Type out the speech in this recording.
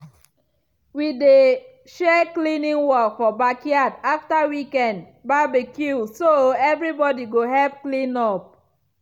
we dey share cleaning work for backyard after weekend barbecue so everybody go help clean up.